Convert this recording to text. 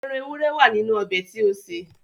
Ẹran ewúré wà nínú ọbẹ̀ tí ó sè